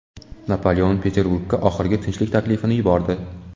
Napoleon Peterburgga oxirgi tinchlik taklifini yubordi.